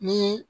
Ni